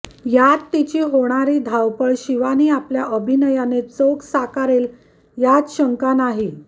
यात तिची होणारी होणारी धावपळ शिवानी आपल्या अभिनयाने चोख साकारेल यात शंका नाही